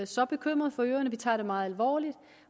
så bekymrede for øerne vi tager det meget alvorligt